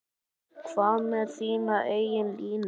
Hvað með þína eigin línu?